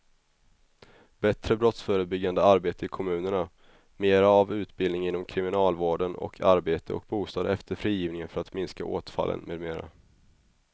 Bättre brottsförebyggande arbete i kommunerna, mera av utbildning inom kriminalvården och arbete och bostad efter frigivningen för att minska återfallen med mera.